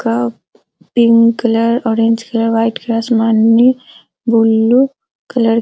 cup pink colour orange colour white colour आसमानी blue colour --